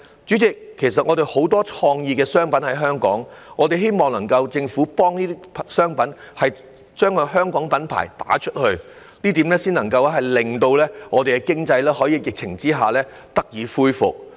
主席，其實香港有很多創意商品，我們希望政府能夠提供協助，為香港品牌拓展海外市場，這樣才能令本港經濟在疫情下得以恢復。